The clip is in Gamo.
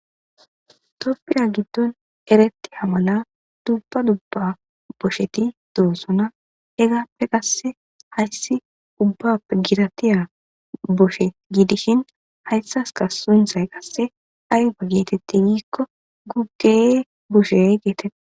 toppira giddon eretti hamala dubba dubba bosheti doosona egappe qasse hayssi ubbap gidatiya boshe giidishin hayssaska sunthay qasse ayfa geetetti giikko guggee boshey geetete